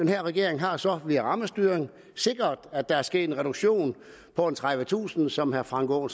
her regering har så via rammestyring sikret at der er sket en reduktion på tredivetusind som herre frank aaen